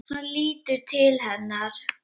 Hann lítur til hennar.